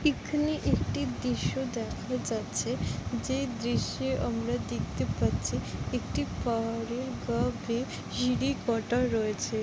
এখানে একটি দৃশ্য দেখা যাচ্ছে যেই দৃশ্যে আমরা দেখতে পাচ্ছি একটি কাটা রয়েছে ।